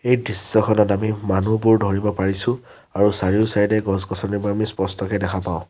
এই দৃশ্যখনত আমি মানুহবোৰ ধৰিব পাৰিছোঁ আৰু চাৰিওচাইডে এ গছ-গছনিবোৰ স্পষ্টকৈ দেখা পাওঁ।